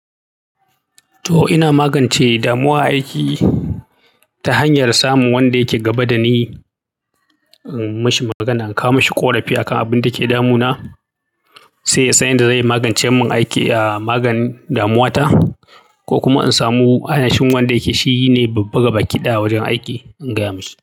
To ina magance damuwan aiki ta hanyar samun wanda yake gaba da ni, in mishi magana, in kawo ma shi ƙorafi akan abin da ke damuna sai san yanda zai magance min aiki, a maganin damuwata ko kuma in samu ainihin wanda yake, shi ne babba ga bakiɗaya a wajen aiki, in gaya mashi.